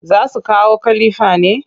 Za su kawo kalifar ne?